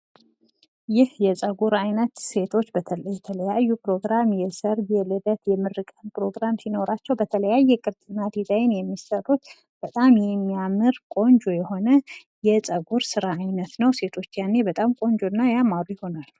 ይህ የፀጉር ስታይል ሴቶች ለተለያየ ፕሮግራም ለሰርግ፣ ለልደት፣ እናም ሌላ ፕሮግራም ሲኖራቸው በተለያየ ዲዛይን የሚሰራ የፀጉር ስራ ነው። በጣም የሚያምር ነው።